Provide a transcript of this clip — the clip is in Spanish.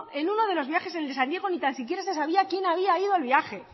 en uno de los viajes el de san diego ni tan siquiera se sabía quién había ido al viaje